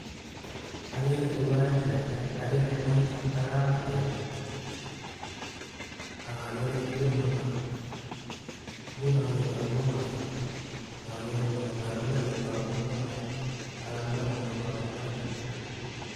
Ageere tugaa che kerkei, ageere moita ak Kamet. Ak agere ketit neo nia, ngunon keton kowo kabsaa, ak ageree tuga ko oeketos